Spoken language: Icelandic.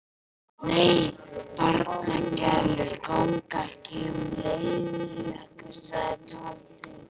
Nei, barnagælur ganga ekki um í leðurjökkum sagði Tóti.